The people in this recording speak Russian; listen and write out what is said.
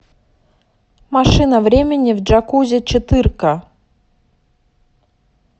машина времени в джакузи четырка